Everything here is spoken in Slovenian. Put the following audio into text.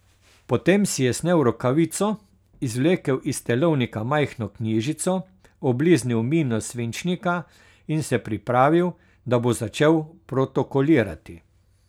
Potem si je snel rokavico, izvlekel iz telovnika majhno knjižico, obliznil mino svinčnika in se pripravil, da bo začel protokolirati.